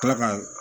Kila ka